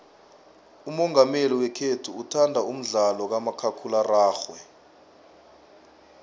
umongameli wekhethu uthanda umdlalo kamakhakhulararhwe